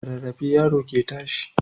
Da rarrafe yaro ke tashi